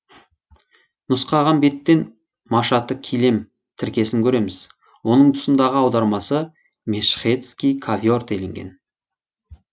нұсқаған беттен машаты килем тіркесін көреміз оның тұсындағы аудармасы мешхедский ковер делінген